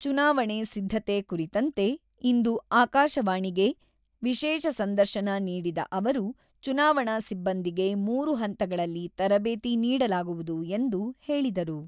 ಚುನಾವಣೆ ಸಿದ್ಧತೆ ಕುರಿತಂತೆ ಇಂದು ಆಕಾಶವಾಣಿಗೆ ವಿಶೇಷ ಸಂದರ್ಶನ ನೀಡಿದ ಅವರು, ಚುನಾವಣಾ ಸಿಬ್ಬಂದಿಗೆ ಮೂರು ಹಂತಗಳಲ್ಲಿ ತರಬೇತಿ ನೀಡಲಾಗುವುದು ಎಂದು ಹೇಳಿದರು.